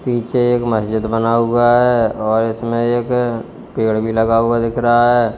पीछे एक मस्जिद बना हुआ है और इसमें एक पेड़ भी लगा हुआ दिख रहा है।